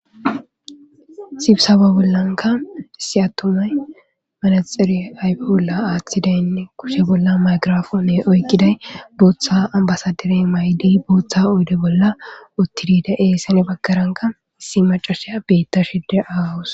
sibsaba bollanka issi attumay manaxere ayfe bolla aaththidaynne kushe bolla maygirafoone oykkiday booththa ambasadirey may7di booththa oyde bolla uttidida dizayssene gedde bagkaranka issi macasheya beettashide de7awus.